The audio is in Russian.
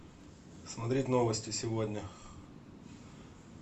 смотреть новости сегодня